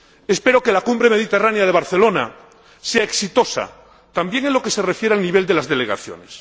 Espero que la Cumbre Euromediterránea de Barcelona sea exitosa también en lo que se refiere al nivel de las delegaciones.